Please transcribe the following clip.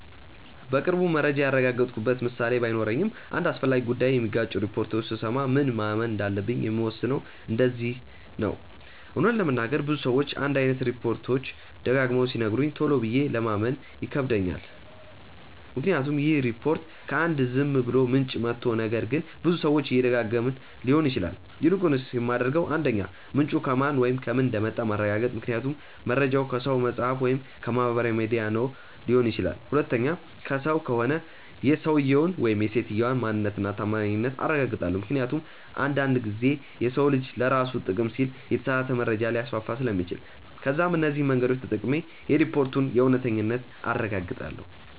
በቅርቡ መረጃ ያረጋገጥኩበት ምሳሌ ባይኖረኝም አንድ አስፈላጊ ጉዳይ የሚጋጩ ሪፖርቶችን ስሰማ ምን ማመን እንዳለብኝ የምወስነው እንደዚህ ነው :- እውነት ለመናገር ብዙ ሰዎች አንድ አይነት ሪፖችት ደጋግመው ሲነግሩኝ ቶሎ ብዬ ለማመን ይከብደኛል ምክንያቱም ይህ ሪፖርት ከ አንድ ዝም ብሎ ምንጭ መቶ ነገር ግን ብዙ ሰዎች እየደጋገመው ሊሆን ይችላል። ይልቁንስ የማደርገው 1. ምንጩ ከማን ወይም ከምን እንደመጣ ማረጋገጥ ምክንያቱም መርጃው ከሰው፣ መፅሐፍ ወይም ከማህበራዊ ሚዲያ ነው ሊሆን ይችላል። 2. ከሰው ከሆነ የሰውየውን/ የሰትየዋን ማንነት እና ታማኝነት አረጋግጣለው ምክንያቱም አንድ አንድ ጊዜ የሰው ልጅ ለራሱ ጥቅም ሲል የተሳሳተ መረጃ ሊያስፋፋ ስለሚችል። ከዛም እነዚህ መንገዶች ተጠቅሜ የሪፖርቱን እውነተኛነት አረጋግጣለው።